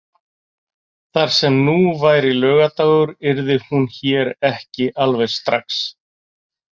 Þar sem nú væri laugardagur yrði hún hér ekki alveg strax.